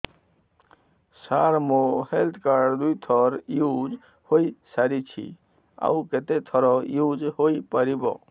ସାର ମୋ health card ଦୁଇ ଥର ୟୁଜ଼ ହୈ ସାରିଛି ଆଉ କେତେ ଥର ୟୁଜ଼ ହୈ ପାରିବ